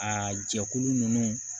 Aa jɛkulu ninnu